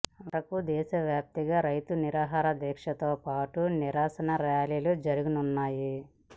వరకు దేశవ్యాప్తంగా రైతు నిరాహార దీక్షలతో పాటు నిరసన ర్యాలీలు జరగనున్నాయి